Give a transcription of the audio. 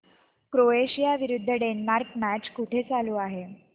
Croatia विरुद्ध Denmark match कुठे चालू आहे